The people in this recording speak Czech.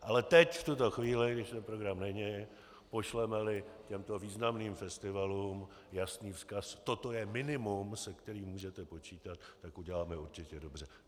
Ale teď, v tuto chvíli, když program není, pošleme-li těmto významným festivalům jasný vzkaz: toto je minimum, se kterým můžete počítat, tak uděláme určitě dobře.